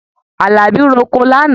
Àlàbí roko lánàá.